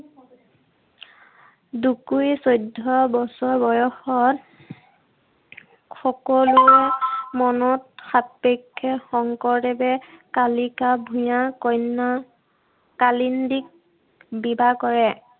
পিছত দুকুৰি চৈধ্য বছৰ বয়সত সকলোৰে মনত সাপেক্ষে শংকৰদেৱে কালিকা ভূঞা কন্যা কালিন্দীক বিবাহ কৰে।